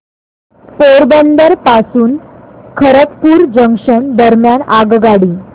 पोरबंदर पासून खरगपूर जंक्शन दरम्यान आगगाडी